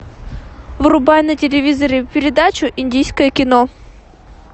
врубай на телевизоре передачу индийское кино